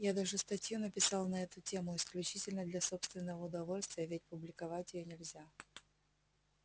я даже статью написал на эту тему исключительно для собственного удовольствия ведь публиковать её нельзя